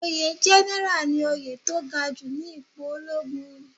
Oyè general ni oyè tó gaju ni ipo ológun